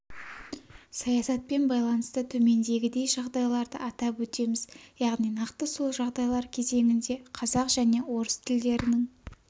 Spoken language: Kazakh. саясатпен байланысты төмендегідей жағдайларды атап өтеміз яғни нақты сол жағдайлар кезеңінде қазақ және орыс тілдерінің